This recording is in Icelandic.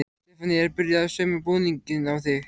Stefanía er byrjuð að sauma búning á þig.